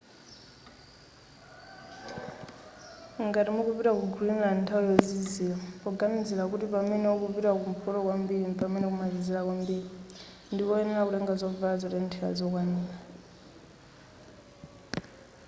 ngati mukupita ku greenland nthawi yozizira poganizira kuti pamene ukupita kumpoto kwambiri mpamene kumazizira kwambiri ndikoyenera kutenga zovala zotenthera zokwanira